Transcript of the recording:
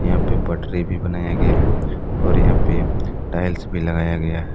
यहां पे पटरी भी बनाया गया है और यहां पे टाइल्स भी लगाया गया है।